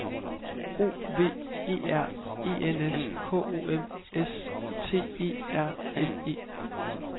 O V E R E N S K O M S T E R N E